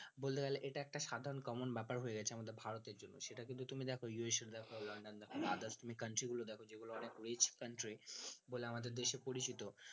বলতে গেলে এটা একটা সাধারণ common ব্যাপার হয়ে গেছে আমাদের ভারতের জন্য সেটা কিন্তু তুমি দেখো ইউ এস এ দেখো লন্ডন দেখো others তুমি country গুলো দেখো যেগুলো অনেক rich country বলে আমাদের দেশে পরিচিত